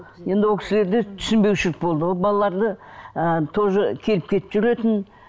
енді ол кісілерде түсінбеушілік болды ол балаларды ы тоже келіп кетіп жүретін